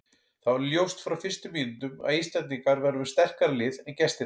Það var ljóst frá fyrstu mínútum að Íslendingar væru með sterkara lið en gestirnir.